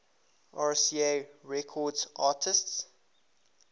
rca records artists